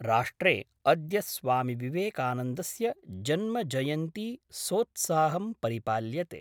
राष्ट्रे अद्य स्वामिविवेकानन्दस्य जन्मजयन्ती सोत्साहं परिपाल्यते।